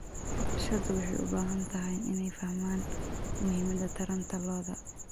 Bulshadu waxay u baahan tahay inay fahmaan muhiimada taranta lo'da.